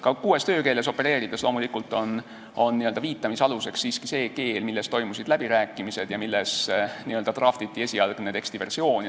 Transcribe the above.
Ka kuues töökeeles opereerides on viitamise aluseks siiski loomulikult see keel, milles toimusid läbirääkimised ja milles n-ö draftiti teksti esialgne versioon.